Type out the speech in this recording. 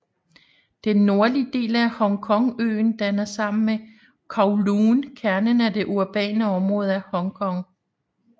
Den nordlige del af Hongkongøen danner sammen med Kowloon kernen af det urbane område af Hongkong